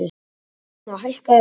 sagði hún og hækkaði röddina.